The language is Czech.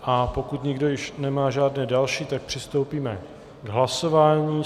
A pokud nikdo již nemá žádné další, tak přistoupíme k hlasování.